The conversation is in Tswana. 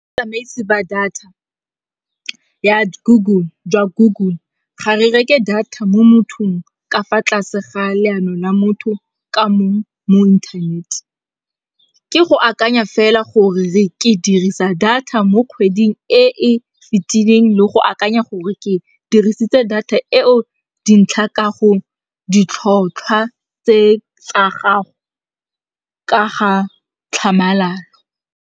ba data ya Google ga re reke data mo mothong ka fa tlase ga leano la motho ka mo internet. Ke go akanya fela gore ke dirisa data mo kgweding e e fitileng le go akanya gore ke dirisitse data eo dintlha ka go ditlhotlhwa tse tsa gago ka ga tlhamalalo.